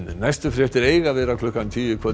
næstu fréttir eiga að vera klukkan tíu í kvöld